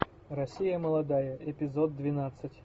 россия молодая эпизод двенадцать